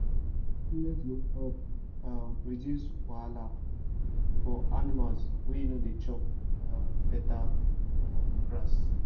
suppliment go help um reduce wahala for animal wey no da chop um better um grass